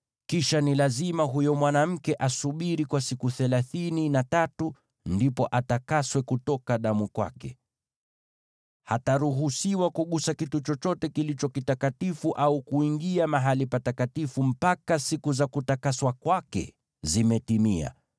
Kisha ni lazima huyo mwanamke asubiri kwa siku thelathini na tatu, ndipo atakaswe kutoka damu kwake. Hataruhusiwa kugusa kitu chochote kilicho kitakatifu au kuingia mahali patakatifu, mpaka siku za kutakaswa kwake zimetimia.